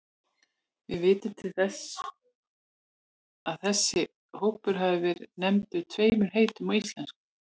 Við vitum til þess að þessi hópur hafi verið nefndur tveimur heitum á íslensku.